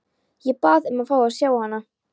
Ég bað um að fá að sjá hana.